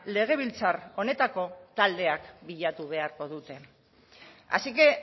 legebiltzar honetako taldeek bilatu beharko dute así que